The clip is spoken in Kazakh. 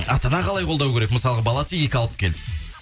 ата ана қалай қолдау керек мысалға баласы екі алып келді